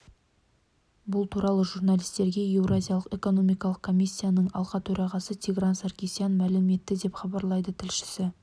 бұл туралы журналистерге еуразиялық экономикалық комиссияның алқа төрағасы тигран саркисян мәлім етті деп хабарлайды тілшісі